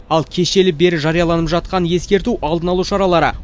ал кешелі бері жарияланып жатқан ескерту алдын алу шаралары